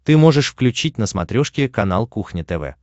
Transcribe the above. ты можешь включить на смотрешке канал кухня тв